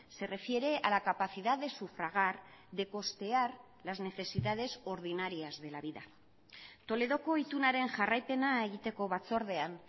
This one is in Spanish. se refiere a la capacidad de sufragar de costear las necesidades ordinarias de la vida toledoko itunaren jarraipena egiteko batzordean